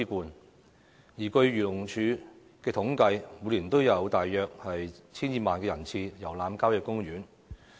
據漁農自然護理署的統計，每年都有大約 1,200 萬人次遊覽郊野公園。